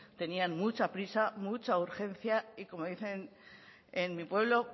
tenían mucha prisa mucha urgencia y como dicen en mi pueblo